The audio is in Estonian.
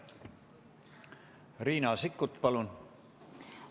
Riina Sikkut, palun!